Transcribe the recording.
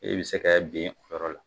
I bi se ka ben o yɔrɔ la